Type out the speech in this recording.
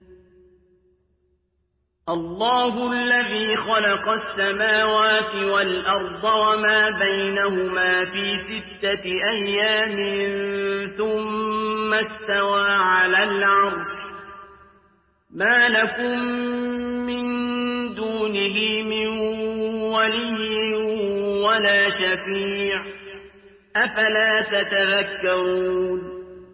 اللَّهُ الَّذِي خَلَقَ السَّمَاوَاتِ وَالْأَرْضَ وَمَا بَيْنَهُمَا فِي سِتَّةِ أَيَّامٍ ثُمَّ اسْتَوَىٰ عَلَى الْعَرْشِ ۖ مَا لَكُم مِّن دُونِهِ مِن وَلِيٍّ وَلَا شَفِيعٍ ۚ أَفَلَا تَتَذَكَّرُونَ